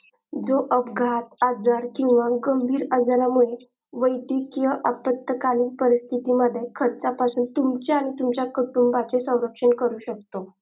जो अब्घात आजार किंवा गंभीर आजरा मुले वेद्दकीय आपत्काली परीस्तीती मध्ये खर्चा पासून तुमचा आणि तुमचा कुटुंबाचे सवरक्षण करू शकत.